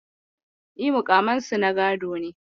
Yes, their titles are hereditary.